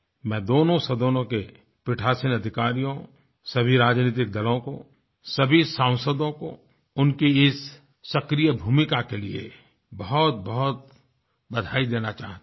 मैं दोनों सदनों के पीठासीन अधिकारियों सभी राजनैतिक दलों को सभी सांसदों को उनके इस सक्रिय भूमिका के लिये बहुतबहुत बधाई देना चाहता हूँ